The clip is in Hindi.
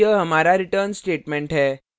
और यह हमारा return statement है